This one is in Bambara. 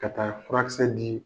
Ka taa furakisɛ di